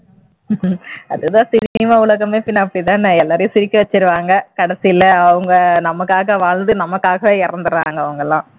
அதுதா cinema உலகமே பின்ன அப்படித்தானே எல்லாரையும் சிரிக்க வச்சிருவாங்க கடைசில அவங்க நமக்காக வாழ்ந்து நமக்காகவே இறந்திடறாங்க அவங்கெல்லாம்